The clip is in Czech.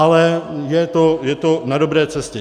Ale je to na dobré cestě.